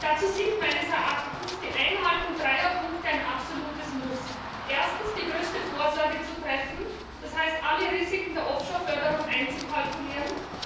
Dazu sind meines Erachtens die Einhaltung dreier Punkte ein absolutes Muss Erstens, die größte Vorsorge zu treffen, das heißt, alle Risiken der Offshore Förderung einzukalkulieren.